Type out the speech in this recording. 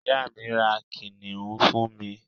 ìyá mi, ra kìnìún fún mi